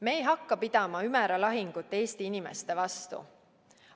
Me ei hakka pidama Ümera lahingut Eesti inimeste vastu.